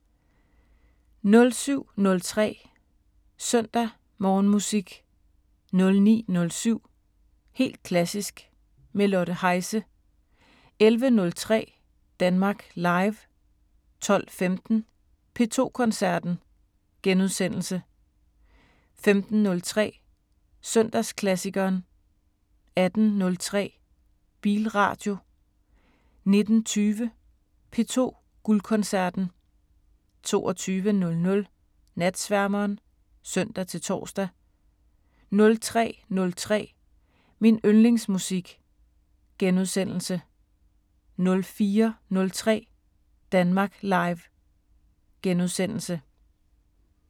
07:03: Søndag Morgenmusik 09:07: Helt klassisk – med Lotte Heise 11:03: Danmark Live 12:15: P2 Koncerten * 15:03: Søndagsklassikeren 18:03: Bilradio 19:20: P2 Guldkoncerten 22:00: Natsværmeren (søn-tor) 03:03: Min yndlingsmusik * 04:03: Danmark Live *